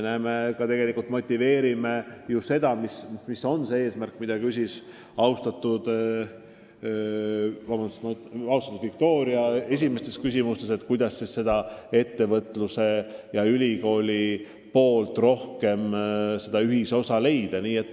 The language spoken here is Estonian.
Me ka tegelikult motiveerime selle eesmärgi saavutamist, mille kohta küsis austatud Viktoria: kuidas suurendada ühisosa ettevõtluse ja ülikoolide tegevuses.